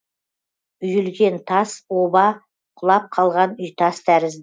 үйілген тас оба құлап қалған үйтас